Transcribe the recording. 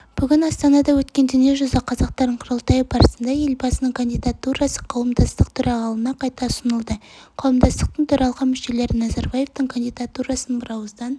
бүгін астанада өткен дүниежүзі қазақтарының құрылтайы барысында елбасының кандидатурасы қауымдастық төрағалығына қайта ұсынылды қауымдастықтың төралқа мүшелері назарбаевтың кандидатурасын бірауыздан